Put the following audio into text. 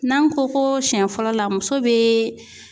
N'an ko koo siɲɛ fɔlɔ la muso bee